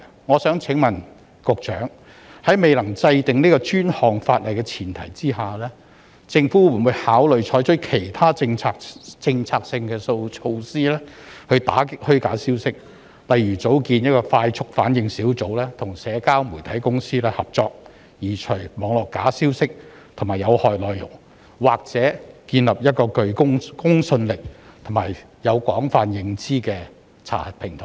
我想問局長，在未能制定專項法例的前提下，政府會否考慮採取其他政策措施打擊虛假消息，例如成立快速反應小組，與社交媒體公司合作，移除網絡假消息及有害內容，或者建立一個具公信力及獲廣泛認受的查核平台呢？